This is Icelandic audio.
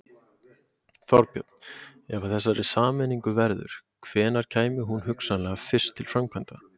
Þorbjörn: Ef af þessari sameiningu verður, hvenær kæmi hún hugsanlega fyrst til framkvæmda?